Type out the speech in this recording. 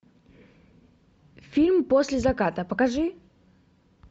фильм после заката покажи